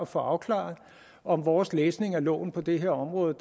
få afklaret om vores læsning af loven på det her område